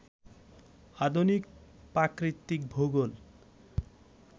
আধুনিক প্রাকৃতিক ভূগোল